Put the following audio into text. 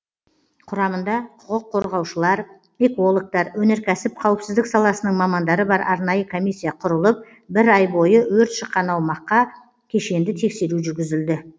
құрамында құқық қорғаушылар экологтар өнеркәсіп қауіпсіздік саласының мамандары бар арнайы комиссия құрылып бір ай бойы өрт шыққан аумаққа кешенді тексеру жүргізілді